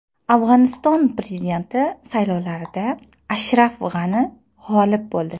Afg‘oniston prezidenti saylovlarida Ashraf G‘ani g‘olib bo‘ldi .